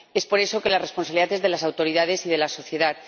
Es por eso que la responsabilidad es de las autoridades y de la sociedad.